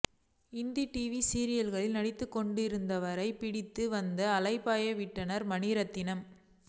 Hindi TV சீரியல்களில் நடித்துக் கொண்டிருந்தவரைப் பிடித்து வந்து அலைபாய விட்டார்மணிரத்னம்